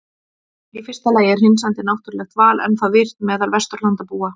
Í fyrsta lagi er hreinsandi náttúrulegt val ennþá virkt meðal Vesturlandabúa.